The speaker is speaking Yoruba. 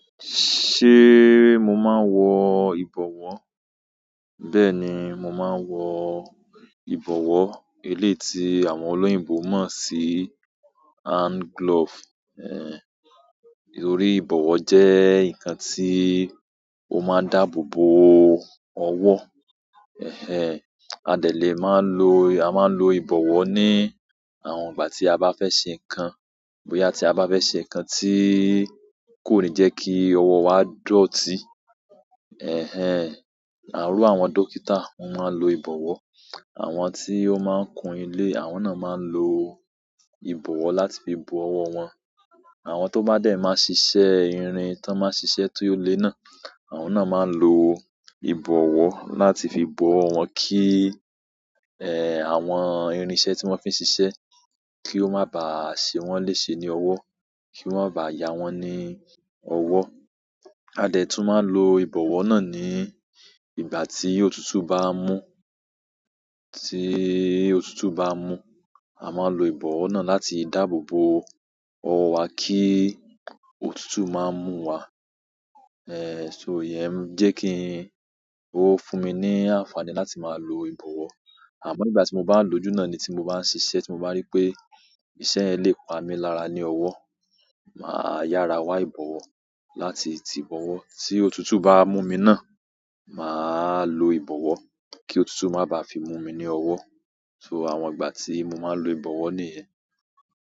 Ṣé mo máa ń wọ ìbọ̀wọ́? Bẹ́ẹ̀ ni, mo máa ń wọ ìbọ̀wọ́. Eleyi ti àwọn oloyinbo mo si hand glove, torí ibowo je nkan ti o maa n dáàbò bo owo a dè lè máa ń lo, a máa ń lo ìbọ̀wọ́ ní àwọn ìgbà tí a bá fẹ́ ṣe nǹkan, bóyá tí a bá fẹ́ ṣe nǹkan tí kò ní jẹ́ kí ọwọ́ wa dọ̀tí. Iru àwọn dókítà wọ́n máa ń lo ìbọ̀wọ́, àwọn tí ó máa ń kun ilé, àwọn náà máa ń lo ìbọ̀wọ́ láti fi bo ọwọ́ wọn. Àwọn to ba de maa n sise irin, ton maa n sise ti o le náà, àwọn maa n lo ibowo láti fi bo owo won, ki àwọn irin iṣẹ́ ti won fi n sise ki o maa ba se won lese ni owo, ki o ma baa yawon ni owo. A dẹ̀ tún máa ń lo ìbọ̀wọ́ náà ní ìgbà tí òtútù bá ń mú, tí òtútù bá ń mú. A máa ń lo ìbọ̀wọ́ náà láti dáàbò bo ọwọ́ wa kí òtútù má mú wa. So iye ń jẹ́ kí n, ó fún mi ní àǹfààní láti máa lo ìbọ̀wọ́. Àmọ́ nígbà tí mo bá lòjú náà ni tí mo bá ń ṣiṣẹ́ tí mo bá rí pé ìṣe yen le pamí lára ní ọwọ́, màá yára wá ìbọ̀wọ́ láti tí bọ̀wọ́ tí òtútù báwa mú mi náà, màá lo ìbọ̀wọ́ kí òtútù má bá fi mú mi ní ọwọ́. So àwọn ìgbà tí mo máa ń lo ìbọ̀wọ́ nìyẹn.